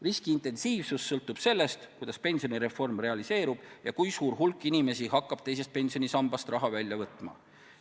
Riski intensiivsus sõltub sellest, kuidas pensionireform realiseerub ja kui suur hulk inimesi hakkab teisest pensionisambast raha välja võtma.